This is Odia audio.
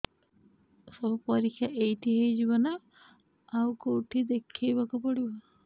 ସବୁ ପରୀକ୍ଷା ଏଇଠି ହେଇଯିବ ନା ଆଉ କଉଠି ଦେଖେଇ ବାକୁ ପଡ଼ିବ